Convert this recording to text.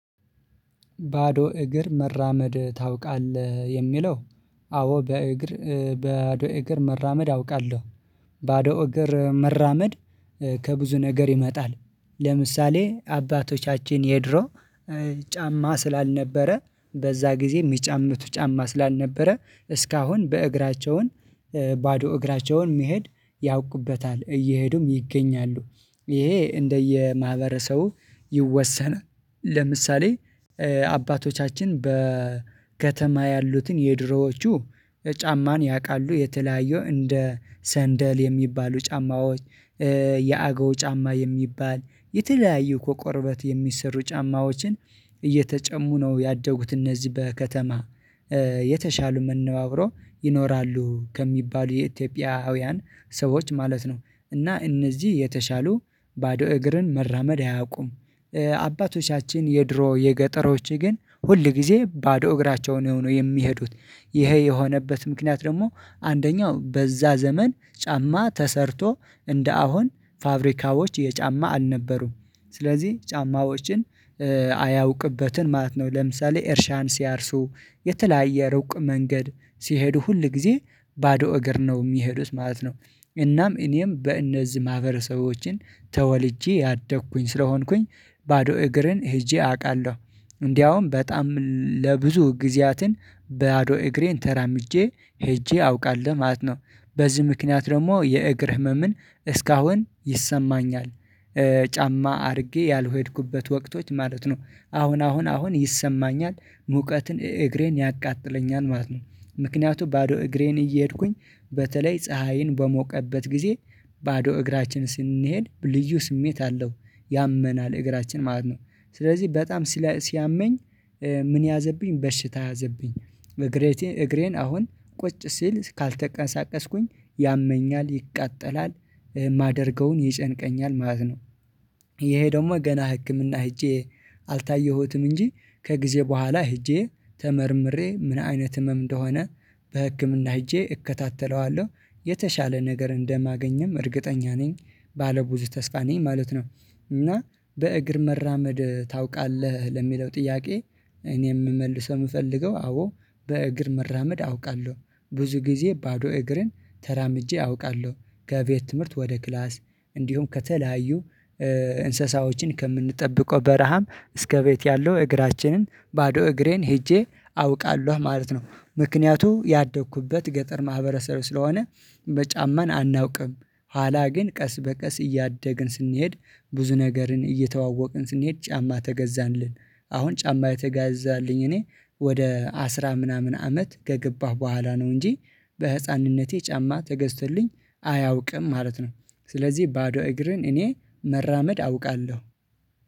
ባዶ እግር መራመድ ታውቃለህ የሚለው? አዎ በእግር ባዶ እግር መራመድ አውቃለሁ። ባዶ እግር መራመድ ከብዙ ነገር ይመጣል። ለምሳሌ አባቶቻችን የድሮ ጫማ ስላልነበረ በዛ ጊዜ የሚጫምቱ ጫማ ስላልነበረ እስካሁን በእግራቸውም ባዶ እግራቸውን መሄድ ያውቁበታል እየሄዱም ይገኛሉ። ይሄ እንደየማህበረሰቡ ይወሰናል። ለምሳሌ አባቶቻችን በከተማ ያሉትን የድሮዎቹ ጫማን ያውቃሉ የተለያዩ እንደ ሰንደል የሚባሉ ጫማዎች የአገው ጫማ የሚባል የተለያዩ ከቁርበት የሚሰሩ ጫማዎችን እየተጨሙ ነው ያደጉት እነዚህ በከተማ የተሻሉ መነባብሮ ይኖራሉ ከሚባሉ የኢትዮጵያውያን ሰዎች ማለት ነው እና እነዚህ የተሻሉ ባዶ እግርን መራመድ አያውቁም። አባቶቻችን የድሮ የገጠሮች ግን ሁል ጊዜ ባዶ እግራቸውን ሆኖ የሚሄዱት ይሄ የሆነበት ምክንያት ደግሞ አንደኛው በዛ ዘመን ጫማ ተሰርቶ እንደ አሁን ፋብሪካዎች የጫማ አልነበሩም። ስለዚህ ጫማዎችን አያውቅበትን ማለት ነው። ለምሳሌ እርሻን ሲያርሱ የተለያየ ሩቅ መንገድ ሲሄዱ ሁል ጊዜ ባዶ እግር ነው የሚሄዱት ማለት ነው። እናም እኔም በእነዚህ ማህበረሰቦችን ተወልጄ ያደግኩኝ ስለሆንኩኝ ባዶ እግርን ሄጄ አውቃለሁ እንዲያውም በጣም ለብዙ ጊዜያትን ባዶ እግሬን ተራምጄ ሄጄ አውቃለሁ ማለት ነው። በዚህ ምክንያት ደግሞ የእግር ህመምን እስካሁን ይሰማኛል። ጫማ አድርጌ ያልሄድኩበት ወቅቶች ማለት ነው አሁን አሁን አሁን ይሰማኛል ሙቀትን እግሬን ያቃጥለኛል ማለት ነው። ምክንያቱም ባዶ እግሬን እየሄድኩኝ በተለይ ፀሀይን በሞቀበት ጊዜ ባዶ እግራችን ስንሄድ ልዩ ስሜት አለው ያመናል እግራችን ማለት ነው። ስለዚህ በጣም ሲያመኝ ምን ያዘብኝ በሽታ ያዘብኝ? እግሬን አሁን ቁጭ ሲል ካልተቀነሳቀስኩኝ ያመኛል ይቃጠላል የማደርገውን ይጨንቀኛል ማለት ነው። ይሄ ደግሞ ገና ህክምና ሄጄ አልታየሁትም እንጂ ከጊዜ በኋላ ሄጄ ተመርምሬ ምን አይነት ህመም እንደሆነ በህክምና ሄጄ እከታተለዋለሁ። የተሻለ ነገር እንደማገኝም እርግጠኛ ነኝ። ባለ ብዙ ተስፋ ነኝ ማለት ነው። እና በእግር መራመድ ታውቃለህ ለሚለው ጥያቄ? እኔ የምመልሰው የምፈልገው አዎ በእግር መራመድ አውቃለሁ። ብዙ ጊዜ ባዶ እግርን ተራምጄ አውቃለሁ። ከቤት ትምህርት ወደ ክላስ እንዲሁም ከተለያዩ እንስሳዎችን ከምንጠብቀው በረሃም እስከ ቤት ያለው እግራችንን ባዶ እግሬን ሄጄ አውቃለሁ ማለት ነው። ምክንያቱ ያደኩበት ገጠር ማህበረሰብ ስለሆነ በጫማን አናውቅም። አላ ግን ቀስ በቀስ እያደግን ስንሄድ ብዙ ነገርን እየተዋወቅን ስንሄድ ጫማ ተገዛንልን። አሁን ጫማ የተጋዛልኝ እኔ ወደ አስራ ምናምን አመት ከገባሁ በኋላ ነው እንጂ በህፃንነቴ ጫማ ተገዝቶልኝ አያውቅም ማለት ነው። ስለዚህ ባዶ እግርን እኔ መራመድ አውቃለሁ።